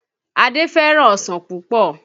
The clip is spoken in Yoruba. Adé fẹ́ràn ọsàn púpọ̀